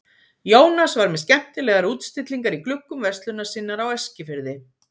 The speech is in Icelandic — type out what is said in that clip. Jónas var með skemmtilegar útstillingar í gluggum verslunar sinnar á Eskifirði.